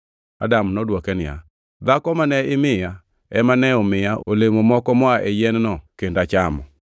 Adam nodwoke niya, “Dhako mane imiya ema nomiya olemo moko moa e yien-no kendo achamo.”